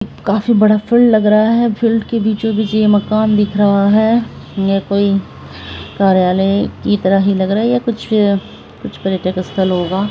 काफी बड़ा फील्ड लग रहा है फील्ड के बीचों-बीच ये मकान दिख रहा है ये कोई कार्यालय की तरह ही लग रहा है या कुछ कुछ पर्यटक स्थल होगा।